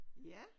Ja